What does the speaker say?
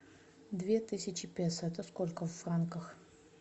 две тысячи песо это сколько в франках